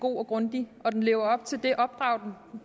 god og grundig og den lever op til det opdrag